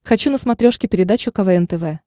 хочу на смотрешке передачу квн тв